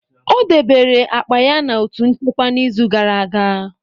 O debere akpa ya na otu nchekwa n'izu gara aga.